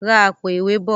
rà Àpò-ìwé bọ!